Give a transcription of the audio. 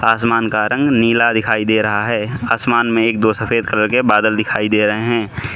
आसमान का रंग नीला दिखाई दे रहा है आसमान में एक दो सफेद कलर के बादल दिखाई दे रहे हैं।